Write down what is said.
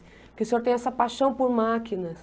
Porque o senhor tem essa paixão por máquinas.